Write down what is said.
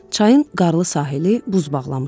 Çayın qarlı sahili buz bağlamışdı.